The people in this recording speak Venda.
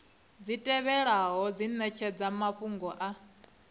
tevhelaho dzi netshedza mafhungo a